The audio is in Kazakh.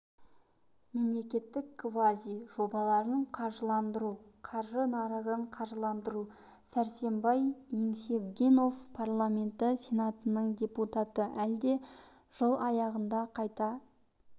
мемлекеттік квази жобаларын қаржыландыру қаржы нарығын қаржыландыру сәрсенбай еңсегенов парламенті сенатының депутаты әлде жыл аяғында қайта